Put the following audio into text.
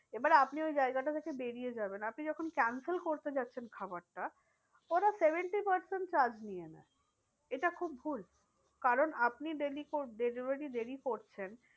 এবার আপনি ওই জায়গাটা থেকে বেরিয়ে যাবেন আপনি যখন cancel করতে যাচ্ছেন খাবারটা ওরা seventy percent charge নিয়ে নেয়। এটা খুব ভুল কারণ আপনি delivery দেরি করছেন